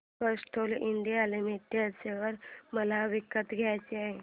Castrol India limited share मला विकत घ्यायचे आहेत